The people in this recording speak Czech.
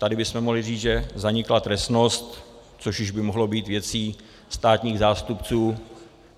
Tady bychom mohli říct, že zanikla trestnost, což už by mohlo být věcí státních zástupců.